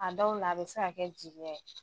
An dɔw la a bi se ka kɛ jigiya ye